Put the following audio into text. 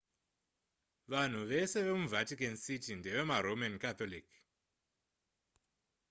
vanhu vese vemuvatican city ndeveroman catholic